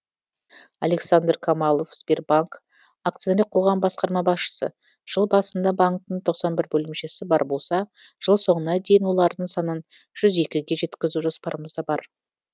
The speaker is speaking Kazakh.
александр камалов сбербанк акционер қоғамы басқарма басшысы жыл басында банктің тоқсан бір бөлімшесі бар болса жыл соңына дейін олардың санын жуз екіге жеткізу жоспарымызда бар